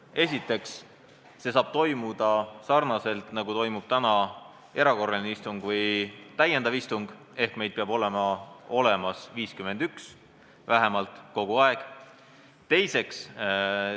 Esiteks, see saab toimuda sarnaselt sellega, nagu toimub praegu erakorraline istung või täiendav istung, ehk meid peab kogu aeg olema kohal vähemalt 51 liiget.